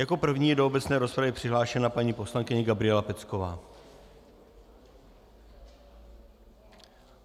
Jako první je do obecné rozpravy přihlášena paní poslankyně Gabriela Pecková.